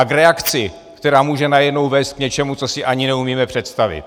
A k reakci, která může najednou vést k něčemu, co si ani neumíme představit.